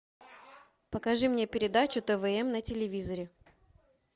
покажи мне передачу тв м на телевизоре